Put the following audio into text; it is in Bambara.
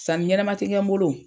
Sani ɲɛnɛma ti kɛ n bolo.